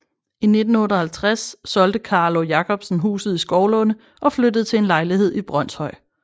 I 1958 solgte Carlo Jacobsen huset i Skovlunde og flyttede til en lejlighed i Brønshøj